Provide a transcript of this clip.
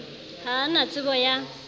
ha a na tsebo ya